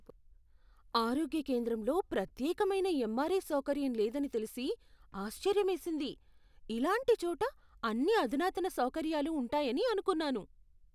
ఆరోగ్య కేంద్రంలో ప్రత్యేకమైన ఎంఆర్ఐ సౌకర్యం లేదని తెలిసి ఆశ్చర్యమేసింది. ఇలాంటి చోట అన్ని అధునాతన సౌకర్యాలు ఉంటాయని అనుకున్నాను.